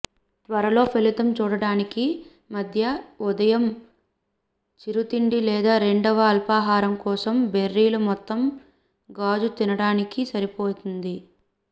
త్వరలో ఫలితం చూడడానికి మధ్య ఉదయం చిరుతిండి లేదా రెండవ అల్పాహారం కోసం బెర్రీలు మొత్తం గాజు తినడానికి సరిపోతుంది